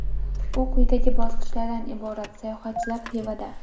U quyidagi bosqichlardan iborat : Sayohatchilar Xivada.